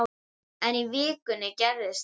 En í vikunni gerðist það.